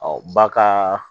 ba ka